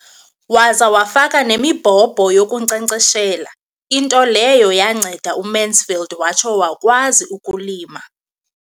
Waza wafaka nemibhobho yokunkcenkceshela, into leyo yanceda uMansfield watsho wakwazi ukulima.